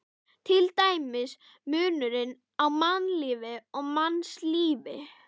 Til dæmis munurinn á mannlífi og mannslífi.